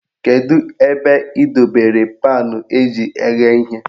Kedu ebe ị dobere paanụ eji eghe ihe?